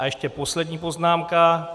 A ještě poslední poznámka.